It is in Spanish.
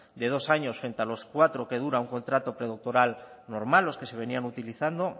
de dos años frente a los cuatro que dura un contrato predoctoral normal los que se venían utilizando